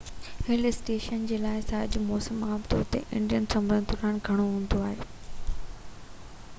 هل station لاءِ سياح جو موسم عام طور تي انڊين سمر دوران گهڻو هوندو آهي